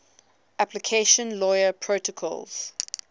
application layer protocols